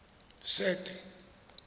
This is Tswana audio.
sete